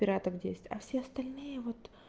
пиратов десять а все остальные вот